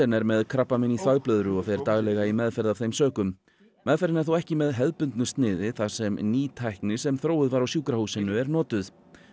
er með krabbamein í þvagblöðru og fer daglega í meðferð af þeim sökum meðferðin er þó ekki með hefðbundnu sniði þar sem ný tækni sem sem þróuð var á sjúkrahúsinu er notuð